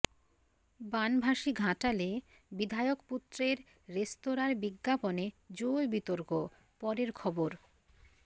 বানভাসি ঘাটালে বিধায়ক পুত্রের রেস্তোরাঁর বিজ্ঞাপনে জোর বিতর্ক পরের খবর